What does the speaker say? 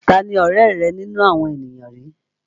Tani ọ̀rẹ́ rẹ nínú àwọn ènìyàn yìí?